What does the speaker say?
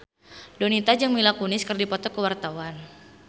Donita jeung Mila Kunis keur dipoto ku wartawan